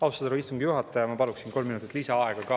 Austatud härra istungi juhataja, ma paluksin kolm minutit lisaaega ka.